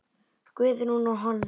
Guðrún og hann.